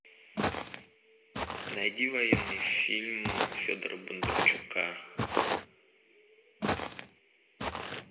найди военный фильм федора бондарчука